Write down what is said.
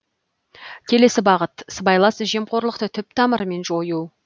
келесі бағыт сыбайлас жемқорлықты түп тамырымен жою